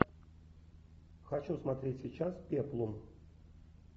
хочу смотреть сейчас пеплум